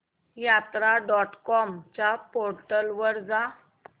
यात्रा dot com च्या portal वर जा